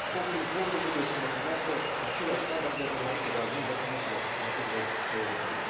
Orice importuri trebuie să îndeplinească aceleași standarde înainte a ajunge pe mesele consumatorilor europeni.